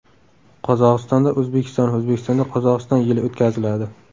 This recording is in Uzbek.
Qozog‘istonda O‘zbekiston, O‘zbekistonda Qozog‘iston yili o‘tkaziladi.